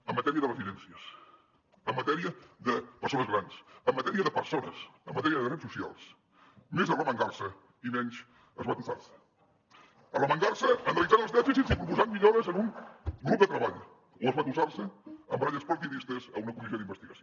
en matèria de residències en matèria de persones grans en matèria de persones en matèria de drets socials més arremangar se i menys esbatussar se arremangar se proposant millores en un grup de treball o esbatussar se amb baralles partidistes en una comissió d’investigació